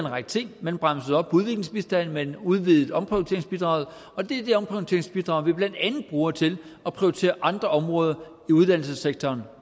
række ting man bremsede op for udviklingsbistanden man udvidede omprioriteringsbidraget og det er det omprioriteringsbidrag vi blandt andet bruger til at prioritere andre områder i uddannelsessektoren